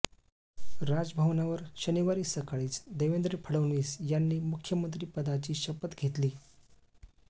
राजभवनावर शनिवारी सकाळीच देवेंद्र फडणवीस यांनी मुख्यमंत्रीपदाची शपथ घेतली